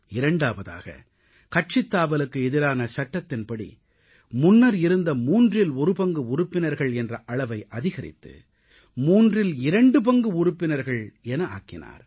இரண்டாவதாக கட்சித்தாவலுக்கு எதிரான சட்டத்தின்படி முன்னர் இருந்த மூன்றில் ஒரு பங்கு உறுப்பினர்கள் என்ற அளவை அதிகரித்து மூன்றில் இரண்டு பங்கு உறுப்பினர்கள் என ஆக்கினார்